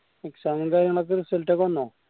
exam ന്റെ result വന്നാ